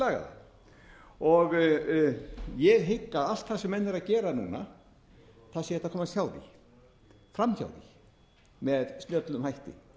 lagað það ég hygg að allt það sem menn eru að gera núna það sé hægt að komast hjá því framhjá því með snjöllum hætti